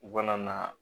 U kana na